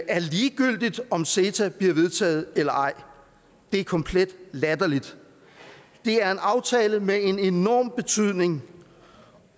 er ligegyldigt om ceta bliver vedtaget eller ej det er komplet latterligt det er en aftale med en enorm betydning